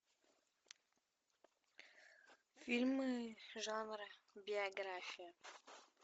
фильмы жанра биография